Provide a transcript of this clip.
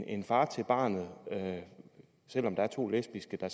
en far til barnet selv om der er to lesbiske der